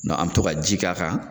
an be tɔ ka ji k'a kan